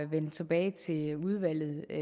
vende tilbage til udvalget med